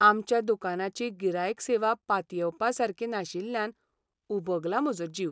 आमच्या दुकानाची गिरायक सेवा पातयेवपासारकी नाशिल्ल्यान उबगला म्हजो जीव.